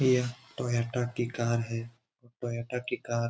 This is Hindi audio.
यह टोयटा की कार है और टोयटा की कार --